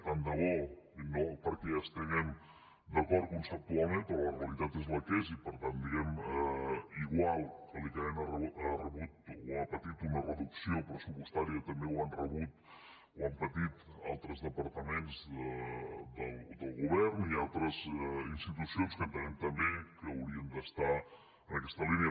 tant de bo no perquè hi estiguem d’acord conceptualment però la realitat és la que és i per tant diguemne igual que l’icaen ha rebut o ha patit una reducció pressupostària també ho han rebut o ho han patit altres departaments del govern i altres institucions que entenem també que haurien d’estar en aquesta línia